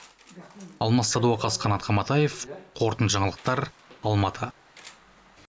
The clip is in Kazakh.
алмас садуақас қанат қаматаев қорытынды жаңалықтар алматы